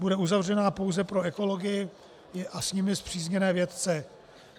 Bude uzavřená pouze pro ekology a s nimi spřízněné vědce.